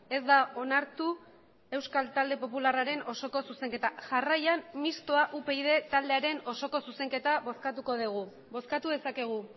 ez da onartu euskal talde popularraren osoko zuzenketa jarraian mistoa upyd taldearen osoko zuzenketa bozkatuko dugu bozkatu dezakegu